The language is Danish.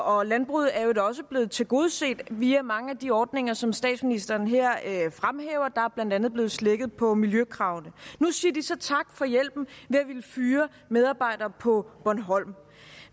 og landbruget er jo da også blevet tilgodeset via mange af de ordninger som statsministeren her fremhæver der er blandt andet blevet slækket på miljøkravene nu siger de så tak for hjælpen ved at ville fyre medarbejdere på bornholm